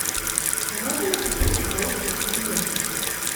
а можно ли попеть в караоке в номере